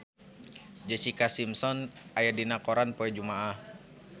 Jessica Simpson aya dina koran poe Jumaah